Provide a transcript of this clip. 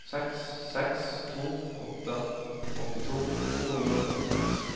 seks seks to åtte åttito to hundre og førtiseks